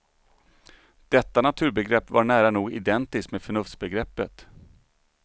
Detta naturbegrepp var nära nog identiskt med förnuftsbegreppet.